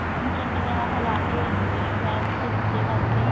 ਹਾਂ ਉਨੂੰ ਚੰਗੀ ਤਰ੍ਹਾਂ ਹਲਾ ਕੇ ਗੈਸ ਸਿਮ ਤੇ ਕਰਕੇ